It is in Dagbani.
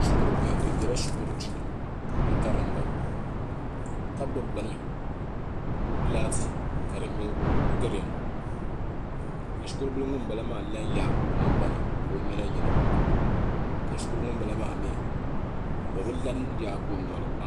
shikuru bihi bi biɛla shikuru duu n karinda ka gbubi bini laati ka di nyo giriin ka shikuru bili ŋunbala maa la n yaagi o nangbani ka o nyina yina ka shikuru bili ŋunbala maa mii o bi la n yaagi o noli